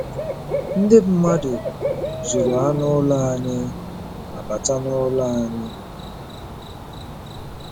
Ndị mmadụ zuru anụ ụlọ anyị ma bata n'ụlọ anyị.